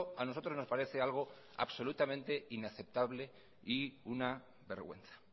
a nosotros nos parece algo absolutamente inaceptable y una vergüenza